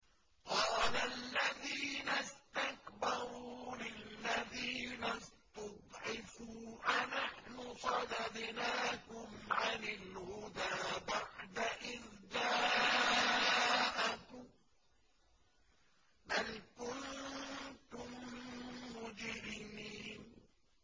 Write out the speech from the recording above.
قَالَ الَّذِينَ اسْتَكْبَرُوا لِلَّذِينَ اسْتُضْعِفُوا أَنَحْنُ صَدَدْنَاكُمْ عَنِ الْهُدَىٰ بَعْدَ إِذْ جَاءَكُم ۖ بَلْ كُنتُم مُّجْرِمِينَ